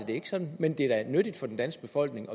det er ikke sådan men det er da nyttigt for den danske befolkning